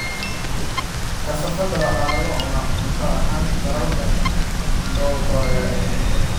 Kasaafada waxa lagu cunaa cunto ahaan dalalka soo koraya oo keliya.